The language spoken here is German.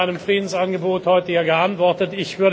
Sie haben mit einem Friedensangebot heute hier geantwortet.